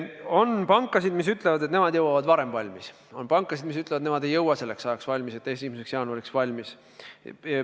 On pankasid, kes ütlevad, et nemad jõuavad varem valmis, on pankasid, kes ütlevad, et nemad ei jõua 1. jaanuariks valmis.